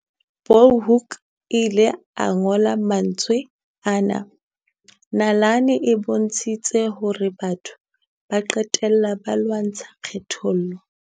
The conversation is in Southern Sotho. Bulhoeko ile a ngola mantswe ana, "Nalane e bontshitse horebatho ba qe tella ba lwantsha kgethollo."